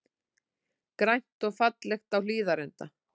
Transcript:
Grænt og fallegt á Hlíðarenda